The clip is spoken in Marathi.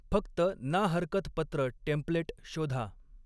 फक्त 'ना हरकत पत्र टेम्प्लेट' शोधा.